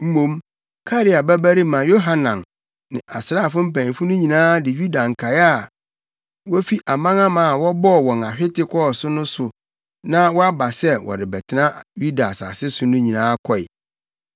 Mmom Karea babarima Yohanan ne asraafo mpanyimfo no nyinaa de Yuda nkae a wofi amanaman a wɔbɔɔ wɔn ahwete kɔɔ so no so na wɔaba sɛ wɔrebɛtena Yuda asase so no nyinaa kɔe.